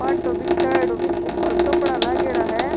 फाटो बिछायेडॉ बि के ऊपर कपडा लागेड़ा है।